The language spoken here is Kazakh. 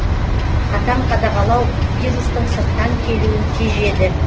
қатаң қадағалау вирустың сырттан келуін тежеді